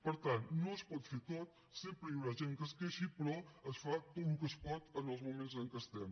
per tant no es pot fer tot sempre hi haurà gent que es queixi però es fa tot el que es pot en els moments en què estem